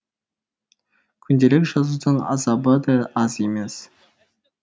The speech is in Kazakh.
күнделік жазудың азабы да аз емес